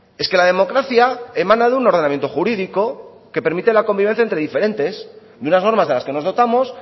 es que la democracia emana de un ordenamiento jurídico que permite la convivencia entre diferentes de unas normas de las que nos dotamos